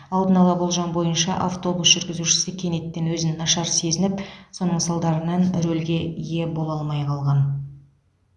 алдын ала болжам бойынша автобус жүргізушісі кенеттен өзін нашар сезініп соның салдарынан рөлге ие бола алмай қалған